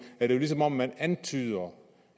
er det jo som om man antyder